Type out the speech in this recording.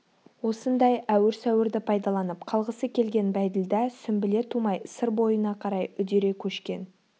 осындай әуір-сәуірді пайдаланып қалғысы келген бәйділда сүмбіле тумай сыр бойына қарай үдере көшкен